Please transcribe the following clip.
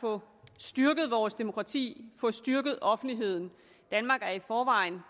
få styrket vores demokrati få styrket offentligheden danmark er i forvejen